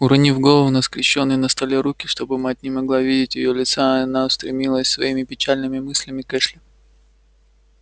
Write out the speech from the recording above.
уронив голову на скрещённые на столе руки чтобы мать не могла видеть её лица она устремилась своими печальными мыслями к эшли